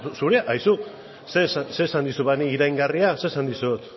zurea aizu zer esan dizut ba iraingarria zer esan dizut